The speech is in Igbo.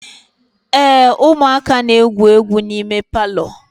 ee, ụmụaka na-egwu egwu n'ime palọ